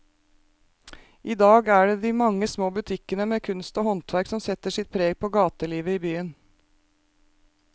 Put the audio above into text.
I dag er det de mange små butikkene med kunst og håndverk som setter sitt preg på gatelivet i byen.